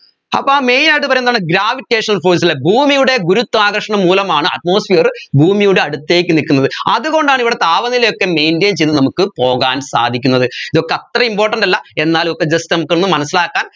അപ്പോ main ആയിട്ട് പറയാ എന്താണ് gravitational force ലെ ഭൂമിയിലെ ഗുരുത്ത്വാകർശണം മൂലമാണ് atmosphere ഭൂമിയുടെ അടുത്തേക്ക് നിക്കുന്നത് അതുകൊണ്ടാണ് ഇവിടെ താപനിലയൊക്കെ maintain ചെയ്ത് നമ്മുക്ക് പോകാൻ സാധിക്കുന്ന ത് ഇതൊക്കെ അത്ര important അല്ല എന്നാലും ഒക്കെ just നമുക്കൊന്ന് മനസിലാക്കാൻ